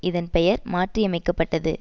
இதன் பெயர் மாற்றியமைக்கப்பட்டது